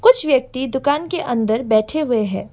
कुछ व्यक्ति दुकान के अंदर बैठे हुए हैं।